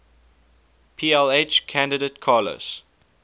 plh candidate carlos